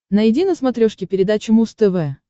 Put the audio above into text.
найди на смотрешке передачу муз тв